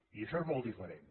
i això és molt diferent